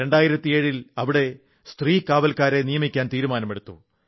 2007 ൽ അവിടെ സ്ത്രീ കാവൽക്കാരെ നിയമിക്കാൻ തീരുമാനമെടുത്തു